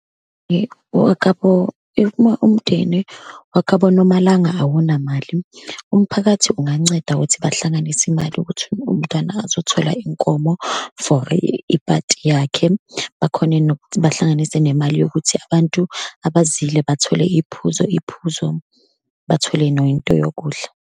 owakabo, uma umndeni wakabo Nomalanga awunamali, umphakathi unganceda ukuthi bahlanganise imali ukuthi umntwana azothola inkomo for iphathi yakhe, bakhone nokuthi bahlanganise nemali yokuthi abantu abazile bathole iy'phuzo, iy'phuzo, bathole noyinto yokudla.